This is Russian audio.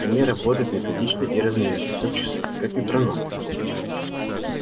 они работают методично и размеренно как часы как метроном